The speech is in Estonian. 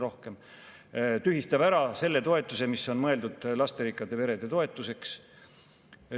Valitsus tühistab ära selle toetuse, mis on mõeldud lasterikastele peredele.